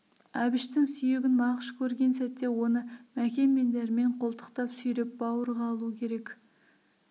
әбіштің сүйегін мағыш көрген сәтте оны мәкен мен дәрмен қолтықтап сүйеп бауырға алу керек